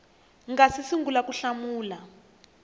nga si sungula ku hlamula